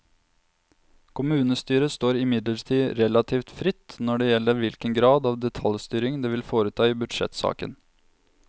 Kommunestyret står imidlertid relativt fritt når det gjelder hvilken grad av detaljstyring det vil foreta i budsjettsaken.